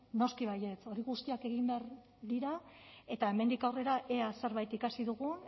noski baietz horiek guztiak egin behar dira eta hemendik aurrera ea zerbait ikasi dugu